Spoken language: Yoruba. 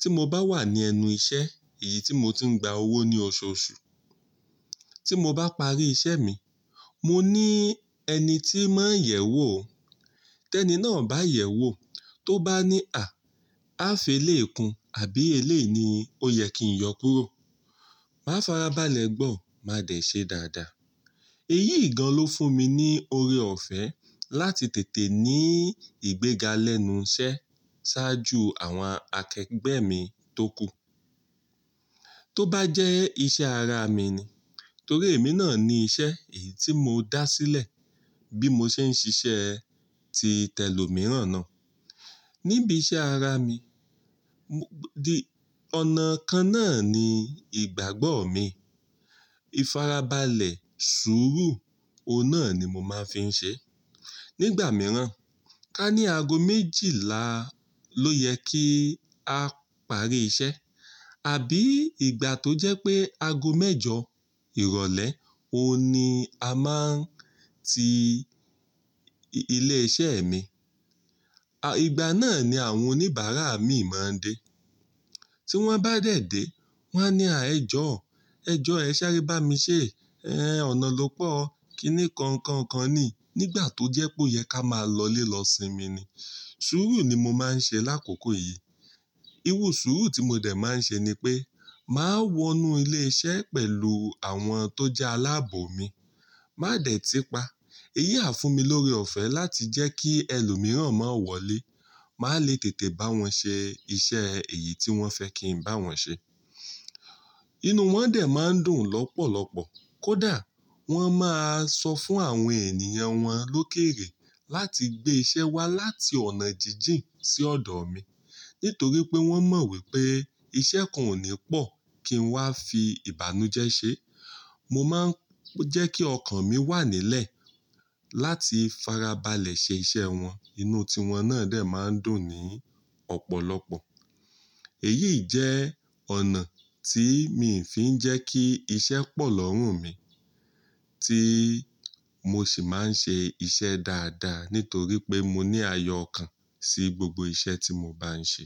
tí mo bá wà ní ẹnu iṣẹ́, èyí tí mo ti ń gba owó ní oṣooṣù. Tí mo bá parí iṣẹ́ mi, mo ní ẹni tí máa ń yẹ̀ wò ó. Tẹ́ni náà bá yẹ̀ wò, tó bá ní "À, a felé kun àbí elé ni?" Ó yẹ kí n yọ kúrọ̀. Máa farabalẹ̀ gbọ́, máa dẹ̀ ṣe dáadáa. Èyí gan lọ fún mi ní oore ọ̀fẹ́ láti tètè ní ìgbéga lẹ́nu iṣẹ́ ṣáájú àwọn akẹgbẹ́ mi tókù. Tó bá jẹ́ iṣẹ́ ara mi ni, torí èmi náà ni iṣẹ́ èyí tí mo dá sílẹ̀ bí mo ṣe ń ṣiṣẹ́ ti tẹ́lò mìíràn náà. Níbi iṣẹ́ ara mi, di ọ̀nà kan náà ni ìgbàgbọ́ mi. Ifarabalẹ̀, sùúrù, òun náà ni mo máa ń fi ń ṣe. Nígbà mìíràn, ká ní ago méjìlá ló yẹ kí a parí iṣẹ́. Àbí ìgbà tó jẹ́ pé ago mẹ́jọ ìrọ̀lẹ́, òun ni a máa ń ti ilé iṣẹ́ mi. À, ìgbà náà ni àwọn oníbàárà mì máa ń dé. Tí wọ́n bá dẹ̀ dé, wọ́n á ní "À, ẹ jọ̀ọ́, ẹ jọ ẹ ṣááré bá mi ṣe. Ẹ́n, ọ̀nà ló pọ́. Kí ni kọ̀ọ̀ kan kan ni?" Nígbà tó jẹ́ pé ó yẹ ká máa lọlé lọ sín mi ni. Sùúrù ni mo máa ń ṣe lákòókò yìí. Irù sùúrù tí mo dẹ̀ máa ń ṣe ni pé, màá wọnú ilé iṣẹ́ pẹ̀lú àwọn tó jẹ́ aláàbò mi. Má dẹ̀ ti pa. Èyí a fún mi lóre ọ̀fẹ́ láti jẹ́ kí ẹlòmíràn má wọlé. Máa le tètè bá wọn ṣe iṣẹ́ èyí tí wọ́n fẹ́ kí n bá wọn ṣe. Inú wọn dẹ̀ máa ń dùn lọ́pọ̀lọ́pọ̀. Kódà wọ́n máa sọ fún àwọn ènìyàn wọn lókèèrè láti gbé iṣẹ́ wá láti ọ̀nà jíjìn sí ọ̀dọ̀ mi. Nítorí pé wọ́n mọ̀ wípé iṣẹ́ kan ò ní pọ̀ kí n wá fi ìbànújẹ́ ṣe. Mo máa ń jẹ́ kí ọkàn mi wà nílẹ̀ láti farabalẹ̀ ṣe iṣẹ́ wọn. Inú tí wọn náà dẹ̀ máa ń dùn ní ọ̀pọ̀lọpọ̀. Èyí jẹ́ ọ̀nà tí mi ń fi ń jẹ́ kí iṣẹ́ pọ̀ lọ́rùn mi, tí mo sì máa ń ṣe iṣẹ́ dáadáa nítorí pé mo ní ayọkàn sí gbogbo iṣẹ́ tí mo bá ń ṣe.